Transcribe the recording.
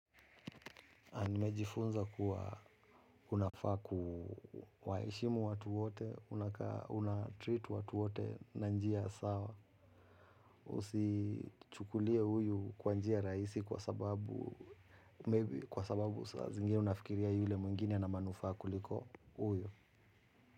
A nimejifunza kuwa unafa kuwaheshimu watu wote, unatreat watu wote na njiya sawa, usichukulie huyu kwa njia rahisi kwa sababu, maybe kwa sababu sazingine unafikiriya yule mwingine ana manufaa kuliko huyu.